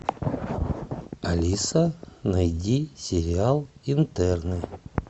алиса найди сериал интерны